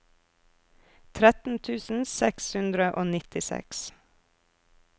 tretten tusen seks hundre og nittiseks